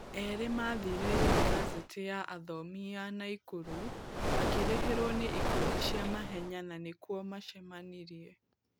Erĩ mathire unibasĩtĩ ya Athomi ya Naikuru makĩrĩhĩrwo nĩ ikundi cia mahenya na nĩ kuo macemanirie.